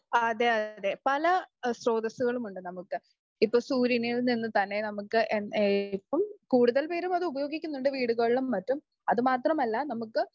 അതേ അതേ. പല സ്രോതസസുകളും ഉണ്ട്. നമുക്ക് ഇപ്പോ സൂര്യനിൽ നിന്നു തന്നെ നമുക്ക് ഇപ്പം കൂടുതൽ പേരും അത് ഉപയോഗിക്കുന്നുണ്ട് വീടുകളിലും മറ്റും. അത് മാത്രമല്ല നമുക്ക്